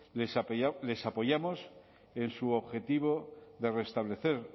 les apoyamos en su objetivo de restablecer